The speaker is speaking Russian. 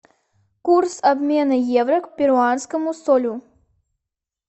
курс обмена евро к перуанскому солю